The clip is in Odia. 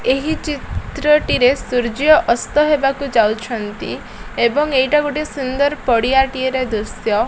ଏହି ଚିତ୍ର ଟିରେ ସୂର୍ଯ୍ୟ ଅସ୍ତ ହେବାକୁ ଯାଉଛନ୍ତି ଏବଂ ଏଇଟା ଗୋଟେ ସୁନ୍ଦର ପଡ଼ିଆ ଟିର ଦୃଶ୍ୟ।